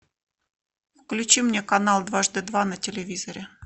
включи мне канал дважды два на телевизоре